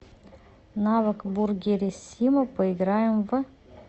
навык бургерисиммо поиграем в